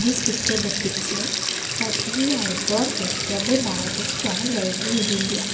this picture depicts a bustling outdoor vegetable market stall likely in india.